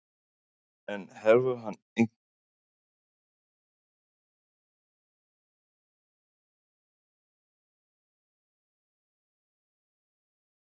En hefur hann einhverjar skýringar á því hvers vegna karlmenn leiti síður til læknis?